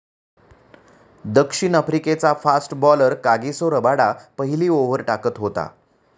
दक्षिण आफ्रिकेचा fast bowler Kagiso Rabada पहिली ओव्हर टाकत होता.